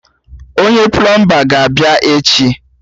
Onye plọọmba ga-abịa echi?